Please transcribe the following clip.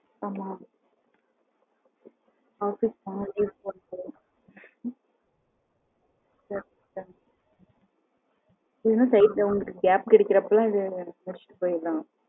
ஆமா ஆபீஸ் போன லீவ் போடணும் கேப் கிடைக்கிறப்ப எல்லாம் இத முடிச்சுட்டு போயிறலாம்